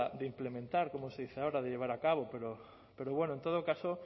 de implementar como se dice ahora de llevar a cabo pero bueno en todo caso